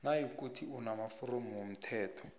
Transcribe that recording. nayikuthi unamaforomo womthelo